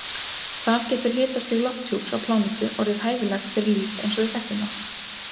Þar getur hitastig lofthjúps á plánetu orðið hæfilegt fyrir líf eins og við þekkjum það.